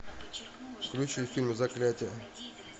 включи фильм заклятие